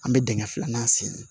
An bɛ dingɛ filanan sen